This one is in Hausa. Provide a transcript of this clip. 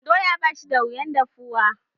Doya ba shi da wuyan dahuwa.